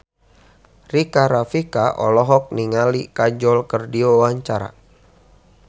Rika Rafika olohok ningali Kajol keur diwawancara